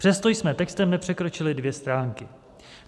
Přesto jsme textem nepřekročili dvě stránky.